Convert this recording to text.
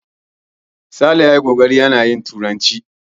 Sale ya ce ya ji Gogori yana yin Turkanci.